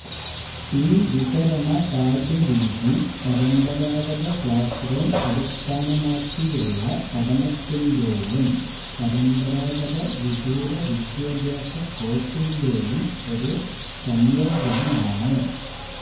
ഈ വിതരണ പാഠ്യ രീതി പരബരാഗത ക്ലാസ് റൂം അടിസ്ഥാനമാക്കിയുള്ള പഠനത്തിന്റ്റേയും പരമ്പരാഗത വിദൂര വിദ്യാഭ്യാസ കോഴ്സിന്റ്റേയും ഒരു സംയോജനമാണ്